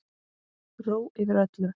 Ró yfir öllu.